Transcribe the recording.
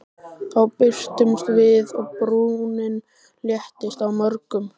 Þá birtumst við og brúnin léttist á mörgum.